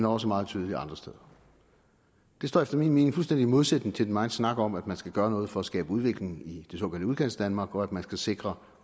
også meget tydeligt andre steder det står efter min mening fuldstændig i modsætning til den megen snak om at man skal gøre noget for at skabe udvikling i det såkaldte udkantsdanmark og at man skal sikre